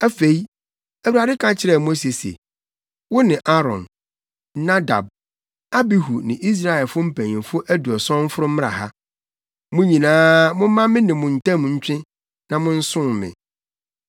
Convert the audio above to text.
Afei, Awurade ka kyerɛɛ Mose se, “Wo ne Aaron, Nadab, Abihu ne Israelfo mpanyimfo aduɔson mforo mmra ha. Mo nyinaa, momma me ne mo ntam ntwe na monsom me.